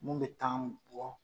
Mun bɛ t' an bɔ